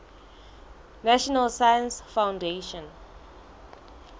national science foundation